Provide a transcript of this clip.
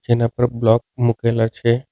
એના ઉપર બ્લોક મુકેલા છે.